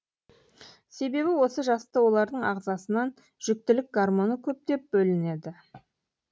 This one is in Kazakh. себебі осы жаста олардың ағзасынан жүктілік гормоны көптеп бөлінеді